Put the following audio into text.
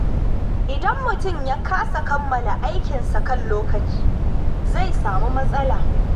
Idan mutum ya kasa kammala aikinsa kan lokaci, zai samu matsala.